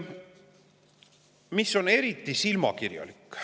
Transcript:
Mis on eriti silmakirjalik?